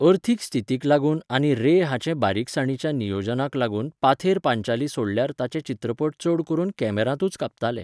अर्थीक स्थितीक लागून आनी रे हाचे बारीकसाणीच्या नियोजनाक लागून पाथेर पांचाली सोडल्यार ताचे चित्रपट चड करून कॅमेरांतूच कापताले.